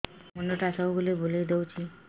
ମୁଣ୍ଡଟା ସବୁବେଳେ ବୁଲେଇ ଦଉଛି